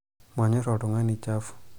manyor oltungani chafu